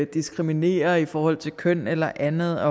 diskriminerer i forhold til køn eller andet